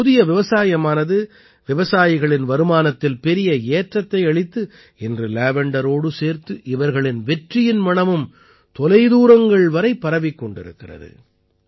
இந்தப் புதிய விவசாயமானது விவசாயிகளின் வருமானத்தில் பெரிய ஏற்றத்தை அளித்து இன்று லேவண்டரோடு சேர்த்து இவர்களின் வெற்றியின் மணமும் தொலைதூரங்கள் வரை பரவிக் கொண்டிருக்கிறது